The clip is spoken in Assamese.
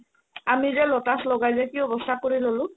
আমি যে lotus লগাই কিনে কি অৱস্থা কৰি ল'লো